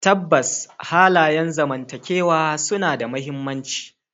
Tabbas, halayen zamantakewa suna da mahimmanci.